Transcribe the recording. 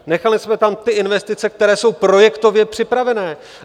Nechali jsme tam ty investice, které jsou projektově připravené.